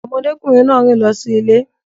Ọmọkùnrin náà rìn lọ sí ilé